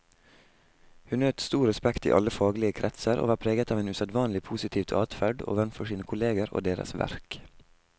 Hun nøt stor respekt i alle faglige kretser, og var preget av en usedvanlig positivt adferd overfor sine kolleger og deres verk.